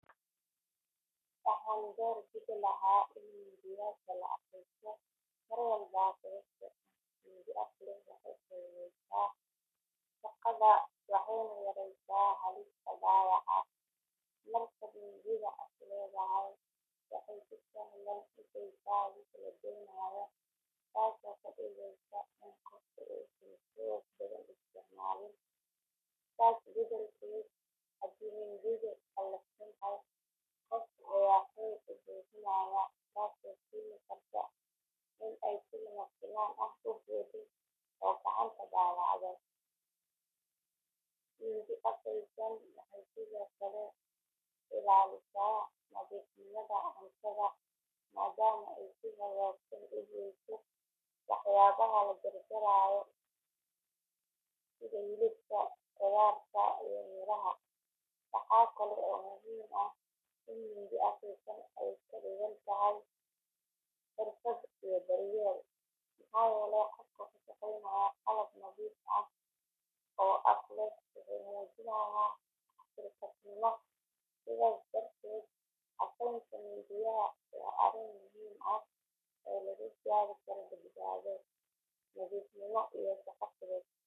Waxaan doorbidi lahaa in mindiyaha la afaysto mar walba sababtoo ah mindi af leh waxay fududeysaa shaqada waxayna yaraysaa halista dhaawaca. Marka mindidu af leedahay waxay si sahlan u goysaa wixii la doonayo taasoo ka dhigaysa in qofku uusan xoog badan isticmaalin. Taas beddelkeeda haddii mindidu qalafsan tahay qofka ayaa xoog ku bixinaya taasoo keeni karta in ay si lama filaan ah u booddo oo gacanta dhaawacdo. Mindi afaysan waxay sidoo kale ilaalisaa nadiifnimada cuntada maadaama ay si hagaagsan u goyso waxyaabaha la jarayo sida hilibka, khudaarta iyo miraha. Waxaa kale oo muhiim ah in mindi afaysan ay ka dhigan tahay xirfad iyo daryeel, maxaa yeelay qofka ku shaqaynaya qalab nadiif ah oo af leh wuxuu muujinayaa xilkasnimo. Sidaas darteed afaynta mindiyaha waa arrin muhiim ah oo lagu gaari karo badbaado, nadiifnimo iyo shaqo fudud.